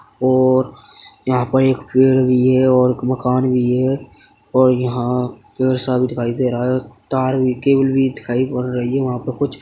और यहाँं पर एक पेड़ भी है और एक मकान भी है और यहाँं पेड़ सा भी दिखाई दे रहा है तार भी केबल भी दिखाई पड़ रही है वहाँं पे कुछ --